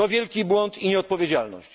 To wielki błąd i nieodpowiedzialność!